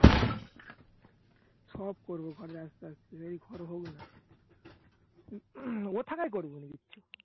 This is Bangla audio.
সব করবো ঘরের আস্তে আস্তে যেই ঘর হোক না। ই থাকায় করবো নিজের ইচ্ছা।